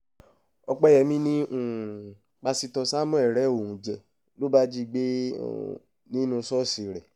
ọ̀pẹyẹmí ni um pásítọ̀ samuel rẹ́ òun jẹ́ ló bá jí i gbé um nínú ṣọ́ọ̀ṣì rẹ̀